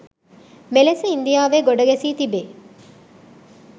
මෙලෙස ඉන්දියාවේ ගොඩ ගැසී තිබෙ